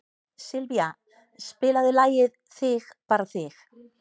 Sylvía, spilaðu lagið „Þig bara þig“.